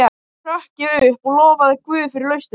Í því hrökk ég upp og lofaði guð fyrir lausnina.